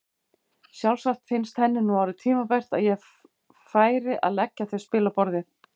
Sjálfsagt fannst henni nú orðið tímabært að ég færi að leggja þau spil á borðið!